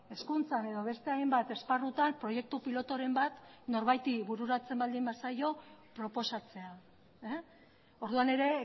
hezkuntzan edo beste hainbat esparrutan proiektu pilotoren bat norbaiti bururatzen baldin bazaio proposatzea orduan ere